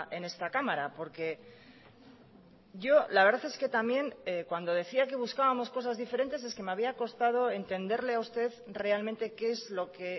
en esta cámara porque yo la verdad es que también cuando decía que buscábamos cosas diferentes es que me había costado entenderle a usted realmente qué es lo que